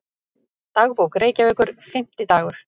Dagbók Reykjavíkur, Fimmtidagur